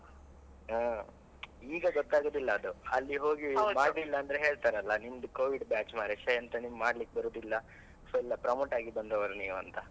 ಹಾ ಈಗ ಗೊತ್ತಾಗುದಿಲ್ಲ ಅದು ಅಲ್ಲಿ ಹೋಗಿ, ಮಾಡ್ಲಲಿಲ್ಲ ಅಂದ್ರೆ ಹೇಳ್ತಾರಲಾ ನಿಮ್ಮದು Covid batch ಮಾರ್ರೆ ಶೇ ಎಂಥ ನಿಮಗೆ ಮಾಡ್ಲಿಕ್ಕೆ ಬರುದಿಲ್ಲ so ಎಲ್ಲ promote ಆಗಿ ಬಂದವರು ನೀವ್ ಅಂತ.